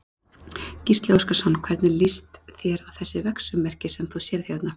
Gísli Óskarsson: Hvernig líst þér á þessi vegsummerki sem þú sérð hérna?